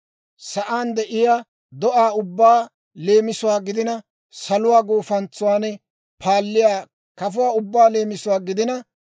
sa'aan de'iyaa do'aa ubbaa leemisuwaa gidina, saluwaa gufantsuwan paalliyaa kafuwaa ubbaa leemisuwaa gidina,